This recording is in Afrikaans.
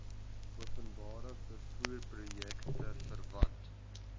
openbare vervoerprojekte verwant